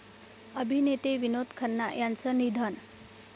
अभिनेते विनोद खन्ना यांचं निधन